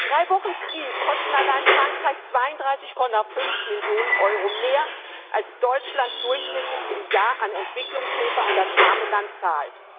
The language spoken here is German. Drei Wochen Krieg kosten allein Frankreich 32,5 Millionen Euro mehr, als Deutschland durchschnittlich im Jahr an Entwicklungshilfe an das arme Land zahlt.